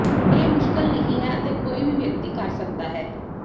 ਇਹ ਮੁਸ਼ਕਲ ਨਹੀਂ ਹੈ ਅਤੇ ਕੋਈ ਵੀ ਵਿਅਕਤੀ ਕਰ ਸਕਦਾ ਹੈ